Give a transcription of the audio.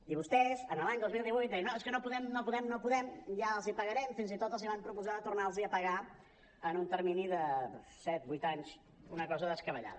i vostès l’any dos mil divuit deien no és que no podem no podem no podem ja els ho pagarem fins i tot els van proposar de tornar los hi a pagar en un termini de set vuit anys una cosa descabellada